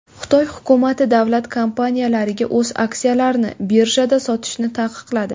Xitoy hukumati davlat kompaniyalariga o‘z aksiyalarini birjada sotishni taqiqladi.